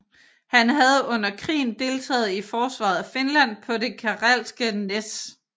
Han havde under krigen deltaget i forsvaret af Finland på det Karelske næs